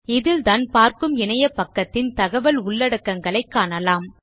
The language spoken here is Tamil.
இதில்தான் பார்க்கும் இணையபக்கத்தின் தகவல் உள்ளடக்கங்களைக் காணலாம்